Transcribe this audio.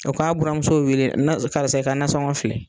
O ka buranmuso wele karisa i ka nansɔngɔ filɛ.